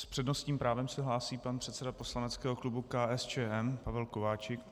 S přednostním právem se hlásí pan předseda poslaneckého klubu KSČM Pavel Kováčik.